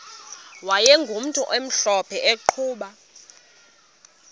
wayegumntu omhlophe eqhuba